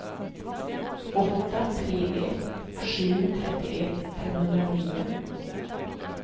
åtta tre ett sju trettioett femhundranio